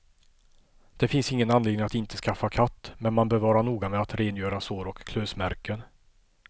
Det finns ingen anledning att inte skaffa katt, men man bör vara noga med att rengöra sår och klösmärken.